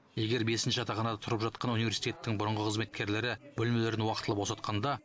егер бесінші жатақханада тұрып жатқан университеттің бұрынғы қызметкерлері бөлмелерін уақытылы босатқанда